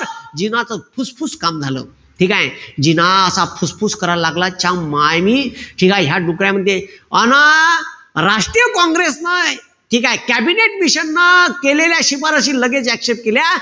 जिनाच फुसफुस काम झालं. ठीकेय? जिना असा फुसफुस करायला लागला. च्यामाईनी ठीकेय डुकऱ्या म्हणे. अन राष्ट्रीय काँग्रेसन ठीकेय? कॅबिनेट मिशनन केलेल्या शिफारसीला लगेच accept केल्या.